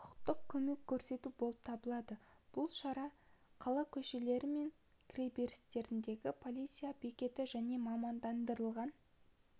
құқықтық көмек көрсету болып табылады бұл шара қала көшелері мен кіреберістеріндегі полиция бекеттері және мамандандырылған